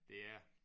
Det er det